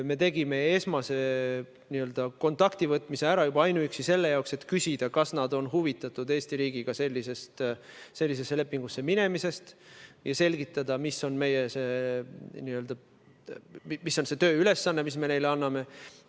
Me tegime esmase n-ö kontaktivõtmise ära juba ainuüksi selle jaoks, et küsida, kas nad on huvitatud Eesti riigiga sellise lepingu sõlmimisest, ja selgitada, millise tööülesande me neile anname.